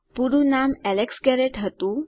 પૂરું નામ Alex Garrett હતું